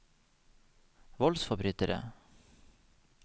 voldsforbrytere